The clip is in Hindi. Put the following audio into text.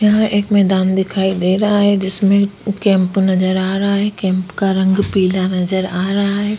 यहाँ एक मैदान दिखाई दे रहा हैं जिसमे कैंप नज़र आ रहा हैं कैंप का रंग पीला नज़र आ रहा हैं।